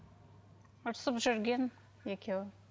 ұрысып жүрген екеуі